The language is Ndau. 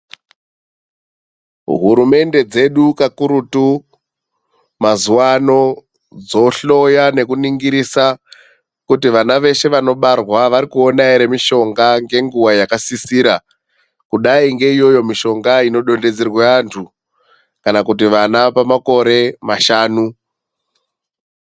Hurumende dzedu kakurutu mazuwano dzohloya nekuningirisa kuti vana veshe vanobarwa varikuona ere mishonga ngenguwa yakasisira, kudai ngeiyoyo mishonga inodonedzerwa vantu kana kuti vana pamakore mashanu.